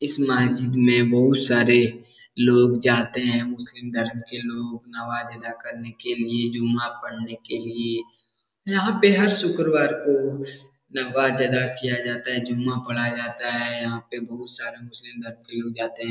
इस महजिद में बहुत सारे लोग जाते हैं मुस्लिम धर्म के लोग नमाज़ अदा करने के लिये जुम्मा पढ़ने के लिये यहाँ पे हर शुक्रवार को नमाज़ अदा किया जाता है जुम्मा पढ़ा जाता है यहाँ पे बहुत सारे मुस्लिम धर्म के लोग जाते हैं।